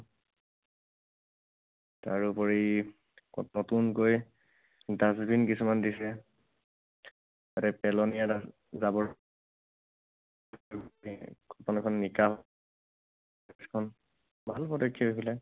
তাৰ উপৰি নতুনকৈ dustbin কিছুমান দিছে। তাতে পেলনীয়া জাবৰ ভাল পদক্ষেপ এইবিলাক।